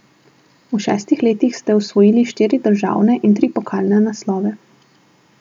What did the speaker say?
V šestih letih ste osvojili štiri državne in tri pokalne naslove.